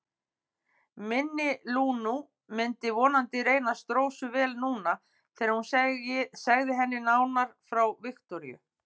Minni Lúnu myndi vonandi reynast Rósu vel núna þegar hún segði henni nánar frá Viktoríu.